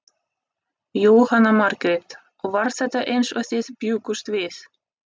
Jóhanna Margrét: Og var þetta eins og þið bjuggust við?